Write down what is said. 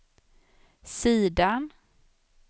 sidan